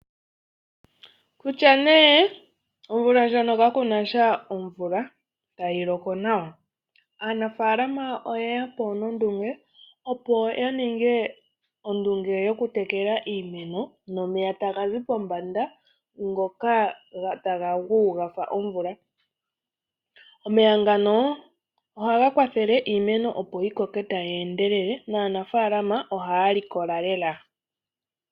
Kutya nee omvula ndjono kakunasha omvula tayi loko nawa, aanafaalama oyeya po nondunge opo yaninge ondunge yokutekela iimeno nomeya taga zi pombanda ngoka taga gu gafa omvula. Omeya ngano ohaga kwathele iimeno opo yikoke tayi endelele, naanafaalama ohaya likola lela.